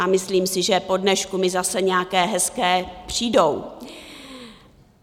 A myslím si, že po dnešku mi zase nějaké hezké přijdou.